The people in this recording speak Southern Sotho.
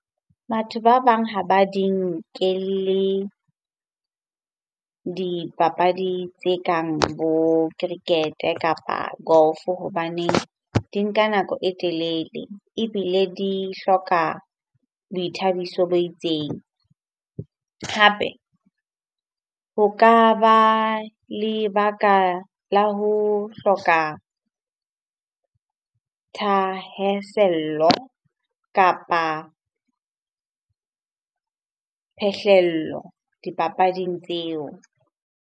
Batho ba bang ha ba di nkelle dipapadi tse kang bo cricket-e kapa golf-o hobaneng di nka nako e telele ebile di hloka boithabiso bo itseng. Hape ho ka ba lebaka la ho hloka thahasello kapa phehlello dipapading tseo.